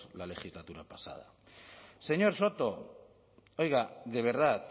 la legislatura pasada señor soto oiga de verdad